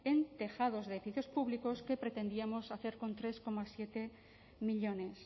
en tejados de edificios públicos que pretendíamos hacer con tres coma siete millónes